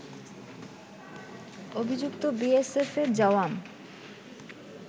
অভিযুক্ত বিএসএফ এর জওয়াম